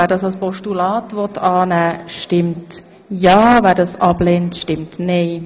Wer Ziffer vier als Postulat annehmen will, stimmt ja, wer dies ablehnt, stimmt nein.